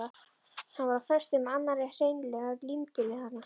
Hann var á föstu með annarri, hreinlega límdur við hana.